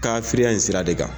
in sira de kan